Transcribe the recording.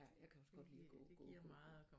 Jeg kan også godt lide at gå gå gå